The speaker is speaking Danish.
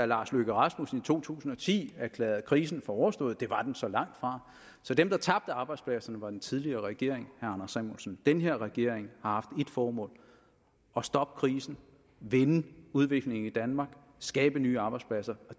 lars løkke rasmussen i to tusind og ti erklærede krisen for overstået det var den så langtfra så dem der tabte arbejdspladserne var den tidligere regering anders samuelsen den her regering har haft et formål at stoppe krisen vende udviklingen i danmark skabe nye arbejdspladser